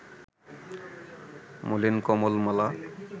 মলিন কমল-মালা